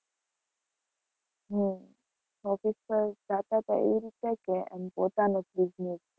હમ office પર જતાં હતા એ રીતે કે આમ પોતાનો જ business?